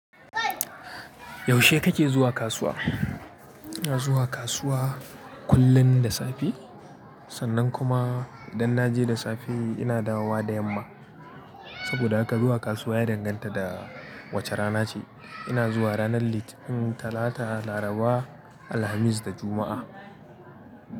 Yaushe kake zuwa kasuwa? Ina zuwa kasuwa kullum da safe. Sannan kuma idan na je da safe ina dawowa da yamma. Saboda haka zuwa kasuwa ya danganta da wace rana ce. Ina zuwa ranar Litinin, Talata, Laraba, Alhamis da Juma'a.